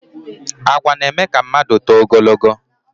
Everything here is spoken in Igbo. Àgwà na- eme ka mmadụ tóó ogologó